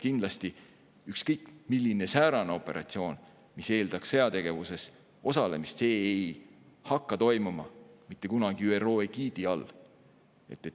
Kindlasti ei hakkaks ükskõik milline operatsioon, mis eeldaks sõjategevuses osalemist, mitte kunagi toimuma ÜRO egiidi all.